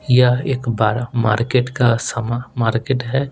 यह एक बरा मार्केट का समा मार्केट है।